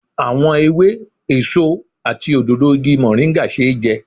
Àwọn ewé, èso àti òdòdó igi moringa ṣeé jẹ